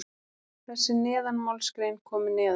þessi neðanmálsgrein komi neðar.